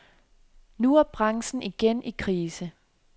Nu er branchen igen i krise.